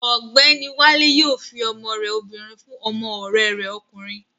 Ọ̀gbẹ́ni Wálé yóò fi ọmọ rẹ obìnrin fún ọmọ ọ̀rẹ́ rẹ̀ ọkùnrin